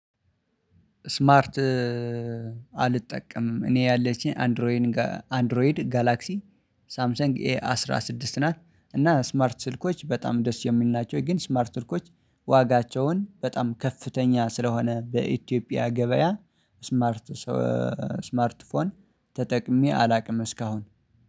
ስማርት አልጠቀምም እኔ ያለችኝ አንድሮይንግ አንድሮይድ ጋላክሲ ሳምሰንግ ኤ አስራ ስድስት ናት እና ስማርት ስልኮች በጣም ደስ የሚሉ ናቸው። ግን ስማርት ስልኮች ዋጋቸውን በጣም ከፍተኛ ስለሆነ በኢትዮጵያ ገበያ ስማርት ሶ ስማርት ፎን ተጠቅሜ አላውቅም እስካሁን